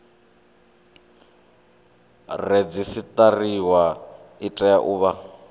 redzisiṱariwa i tea u vha